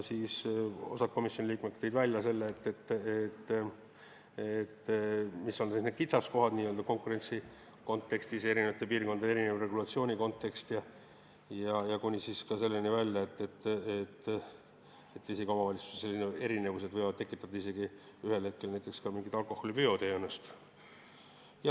Osa komisjoni liikmeid tõi välja selle, mis on need kitsaskohad konkurentsi kontekstis, eri piirkondade erineva regulatsiooni kontekstis, kuni selleni välja, et omavalitsuste vahelised erinevused võivad tekitada ühel hetkel isegi mingit alkoholiveoteenust.